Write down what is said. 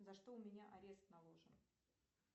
за что у меня арест наложен